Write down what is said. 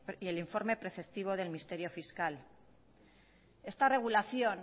y el informe preceptivo del ministerio fiscal esta regulación